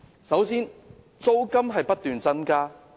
首先，租金不斷增加。